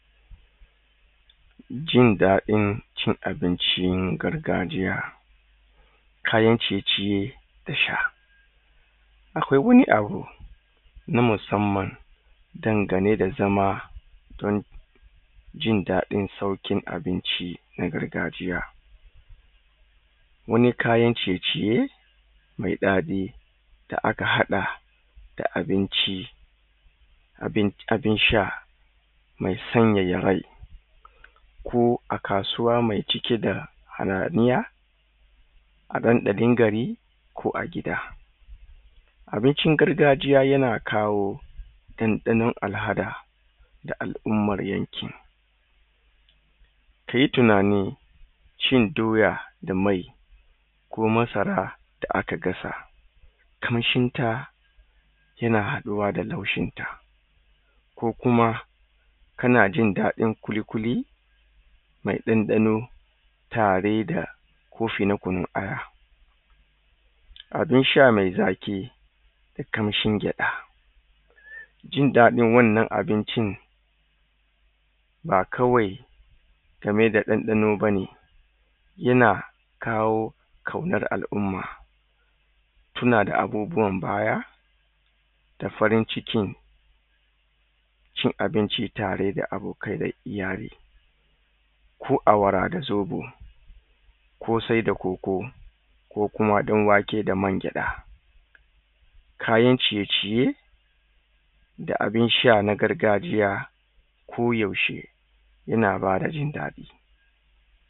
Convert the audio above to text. jindaɗin cin abincin gargajiya kayan ciye ciye da sha akwai wani abu na musamman dangane da zama ɗin jindaɗin saukin abinci na gargajiya wani kayan ciye ciye mai daɗi da aka haɗa da abinci abin abin sha mai sanyaya rai ko a kasuwa mai cike da hayaniya aɗanɗa ɗin gari ko a gida abincin gargajiya yana kawo ɗanɗanon alhada da al'umman yankin ka yi tunani cin doya da mai ko masara da aka gasa kamshin ta yana haɗuwa da laushin ta ko kuma kana jindaɗin kuli kuli mai ɗanɗano tare da kofi na kunun aya abin sha mai zaki da kamshin gyada jindaɗin wannan abincin ba kawai game da ɗanɗano bane yana kawo kaunar al'umma tuna da abubuwan baya da farin cikin cin abinci tare da abokai da iyali ko awara da zobo kosai da koko ko kuma ɗan wake da man gyaɗa kayan ciye ciye da abin sha na gargajiya ko yaushe yana ba da jindaɗi